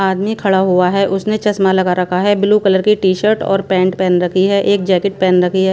आदमी खड़ा हुआ हैं उसने चश्मा लगा रखा हैं ब्लू कलर की टी-शर्ट और पैंट पहन रखी हैं एक जैकेट पहन रखी हैं।